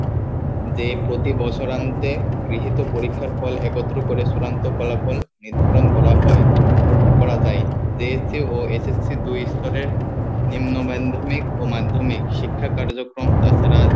যে প্রতি বছর আনতে গৃহীত পরীক্ষার ফল একত্র করে চূড়ান্ত ফলাফল নির্ধারণ করা হয় করা যাই JSC ও SSC দুই স্তরের নিম্ন মাধ্যমিক ও মাধ্যমিক শিক্ষা কার্যক্রম তাছাড়া